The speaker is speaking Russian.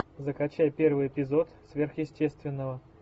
закачай первый эпизод сверхъестественного